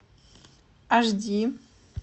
аш ди